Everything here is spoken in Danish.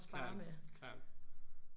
Klart klart